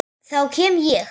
Þá kem ég